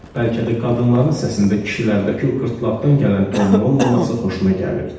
Bəlkə də qadınların səsində kişilərdəki o qırtlaqdan gələn tonun olmaması xoşuna gəlirdi.